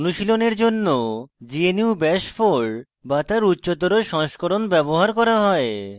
অনুশীলনের জন্য gnu bash 4 bash তার উচ্চতর সংস্করণ ব্যবহার করা হয়